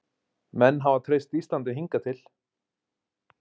Menn hafa treyst Íslandi hingað til